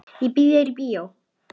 Ég býð þér í bíó.